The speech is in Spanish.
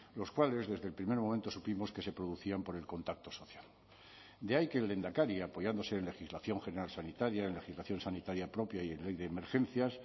los cuales desde el primer momento supimos que se producían por el contacto social de ahí que el lehendakari apoyándose en legislación general sanitaria en legislación sanitaria propia y en ley de emergencias